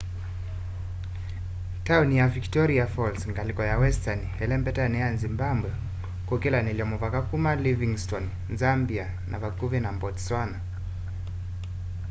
tauni ya victoria falls ngaliko ya westani ilembetani ya zimbabwe kukilanilya muvaka kuma livingstone zambia na vakuvi na botswana